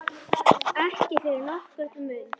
Ekki fyrir nokkurn mun.